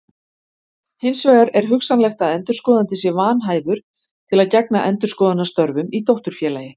Hins vegar er hugsanlegt að endurskoðandi sé vanhæfur til að gegna endurskoðunarstörfum í dótturfélagi.